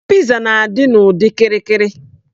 Piza na-adị n'ụdị okirikiri.